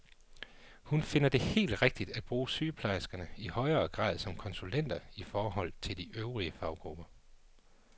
Hun finder det helt rigtigt at bruge sygeplejerskerne i højere grad som konsulenter i forhold til de øvrige faggrupper.